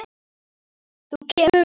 Þú kemur með.